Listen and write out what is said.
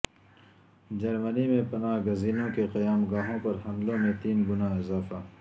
جرمنی میں پناہ گزینوں کی قیام گاہوں پر حملوں میں تین گنا اضافہ